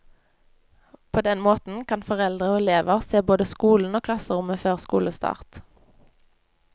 På den måten kan foreldre og elever se både skolen og klasserommet før skolestart.